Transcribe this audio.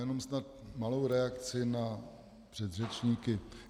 Jenom snad malou reakci na předřečníky.